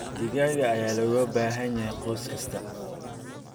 Digaag ayaa looga baahan yahay qoys kasta.